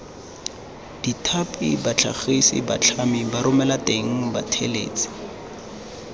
bathapi batlhagisi batlhami baromelateng bathelesi